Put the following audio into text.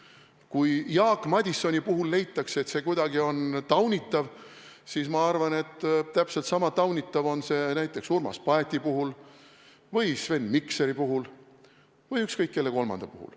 Kui Jaak Madisoni puhul leitakse, et see kuidagi on taunitav, siis ma arvan, et täpselt sama taunitav on see näiteks Urmas Paeti puhul või Sven Mikseri puhul või ükskõik kelle kolmanda puhul.